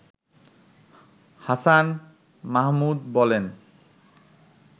হাছান মাহমুদ বলেন